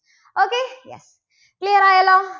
okay clear ആയല്ലോ.